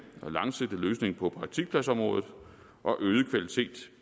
og langsigtet løsning på praktikpladsområdet og øget kvalitet